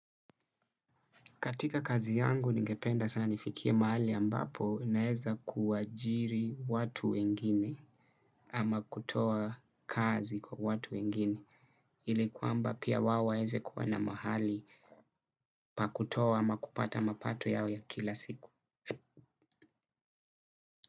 Katika kazi yangu ningependa sana nifikie mahali ambapo naeza kuajiri watu wengini ama kutoa kazi kwa watu wengine ili kuamba pia wao waeze kuwa na mahali pakutoa ama kupata mapato yao ya kila siku.